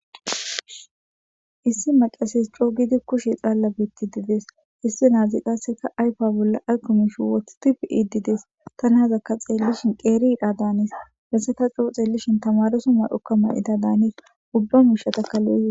issi maqases coo gidi kushe xaalla beetti didees issi naazi qasseka ayfa bolla aykomish woothtif ididees ta naazakka xeellishin qeeriidha daanis hesseka coo xeellishin tamaroso may'okka ma'ida daanis ubba mushatakkalo'e.